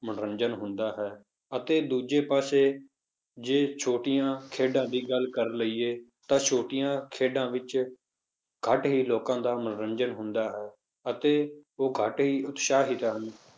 ਮਨੋਰੰਜਨ ਹੁੰਦਾ ਹੈ, ਅਤੇ ਦੂਜੇ ਪਾਸੇ ਜੇ ਛੋਟੀਆਂ ਖੇਡਾਂ ਦੀ ਗੱਲ ਕਰ ਲਈਏ ਤਾਂ ਛੋਟੀਆਂ ਖੇਡਾਂ ਵਿੱਚ ਘੱਟ ਹੀ ਲੋਕਾਂ ਦਾ ਮਨੋਰੰਜਨ ਹੁੰਦਾ ਹੈ ਅਤੇ ਉਹ ਘੱਟ ਹੀ ਉਤਸ਼ਾਹਿਤ ਹਨ,